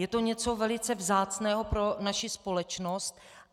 Je to něco velice vzácného pro naši společnost.